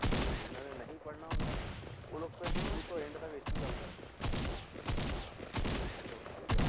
ਹੁਣ ਜਿੰਨਾਂ ਨੇ ਨਹੀਂ ਪੜ੍ਹਣਾ ਹੁੰਦਾ ਉਹ ਲੋਕ ਫਿਰ ਸ਼ੁਰੂ ਤੋਂ end ਤੱਕ ਇੱਕ ਹੀ ਕੰਮ ਕਰਦੇ ਕਿ hostel